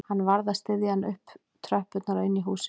Hann varð að styðja hana upp tröppurnar og inn í húsið